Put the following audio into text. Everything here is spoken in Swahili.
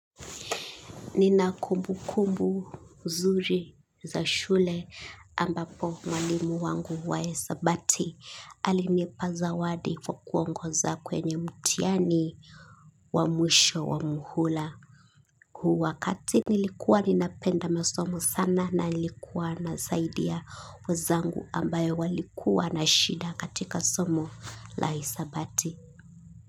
Nina kumbukumbu nzuri za shule ambapo mwalimu wangu wa hesabati alinipa zawadi kwa kuongoza kweny mtihani wa mwisho wa muhula huu wakati nilikuwa napenda masomo sana na nilikuwa nasaidia wenzangu ambayo walikuwa na shida katika somo la hisabati.